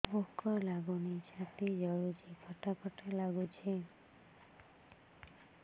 ଭୁକ ଲାଗୁନି ଛାତି ଜଳୁଛି ଖଟା ଖଟା ଲାଗୁଛି